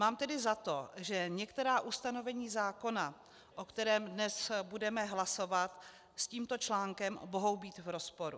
Mám tedy za to, že některá ustanovení zákona, o kterých dnes budeme hlasovat, s tímto článkem mohou být v rozporu.